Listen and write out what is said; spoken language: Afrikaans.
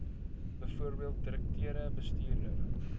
bv direkteur bestuurder